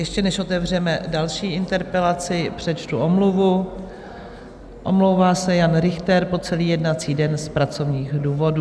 Ještě než otevřeme další interpelaci, přečtu omluvu: omlouvá se Jan Richter po celý jednací den z pracovních důvodů.